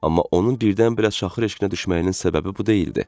Amma onun birdən-birə şaxır eşkinə düşməyinin səbəbi bu deyildi.